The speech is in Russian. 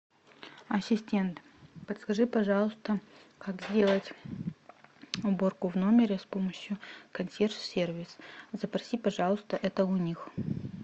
ассистент подскажи пожалуйста как сделать уборку в номере с помощью консьерж сервиса запроси пожалуйста это у них